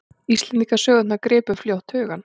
Íslendingasögurnar gripu fljótt hugann.